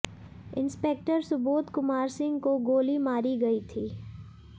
inspector Subodh Kumar Singh को गोली मारी गई थी